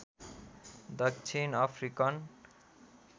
दक्षिण अफ्रिकन